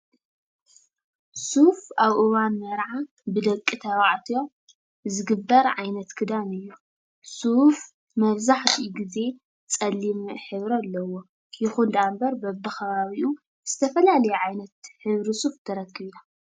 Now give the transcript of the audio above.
ሱፍ ኣብ እዋን መርዓ ብደቂ ተባዕትዮ ብዝግበር ዓይነት ክዳን እዩ። ሱፍ መብዛሕትኡ ግዜ ፀሊም ሕብሪ ኣለዎ ይኹን ደኣ እምበር በቢ ከባቢኡ ዝተፈላለየ ዓይነት ሕብሪ ሱፍ ትረክብ ኢኻ።